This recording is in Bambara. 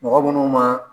Mɔgɔ munnu ma